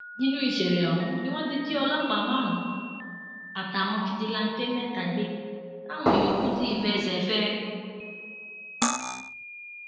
nínú ìṣẹlẹ ọhún ni wọn ti jí ọlọpàá márùnún àtàwọn fíjìláńtẹ mẹta gbé táwọn yòókù sì fẹsẹ fẹ ẹ